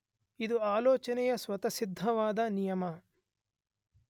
ಇದು ಆಲೋಚನೆಯ ಸ್ವತಸ್ಸಿದ್ಧವಾದ ನಿಯಮ.